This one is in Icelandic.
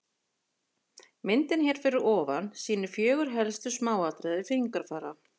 Myndin hér fyrir ofan sýnir fjögur helstu smáatriði fingrafara.